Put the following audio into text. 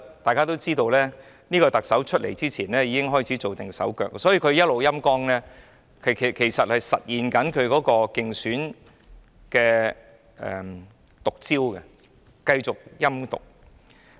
大家都知道，這位特首在上任前已經開始做手腳，所以她一直在"陰乾"港台，其實正是實現她的競選"毒招"，繼續陰毒。